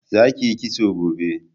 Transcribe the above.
za ki yi kitso gobe!